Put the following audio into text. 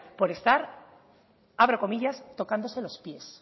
por estar abro comillas tocándose los pies